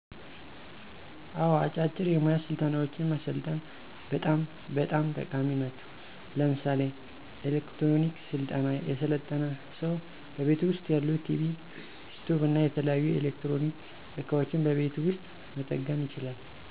አወ፥ አጫጭር የሞያ ስልጠናወችን መሰልጠን በጣም በጣም ጠቃሚ ናቸው። ለምሳሌ፦ ኤሌክትሮኒክ ስልጠና የሰለጠነ ሰው በቤቱ ውስጥ ያሉ ቲቪ፣ ስቶቭና የተለያዩ የኤሌክትሮኒክ እቃወችን በቤቱ ውስጥ መጠገን ይችላል።